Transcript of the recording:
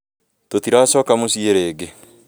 Tũtiracoka muciĩ rĩngĩ